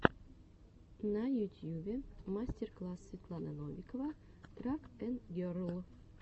на ютьюбе мастер класс светлана новикова трак энд герл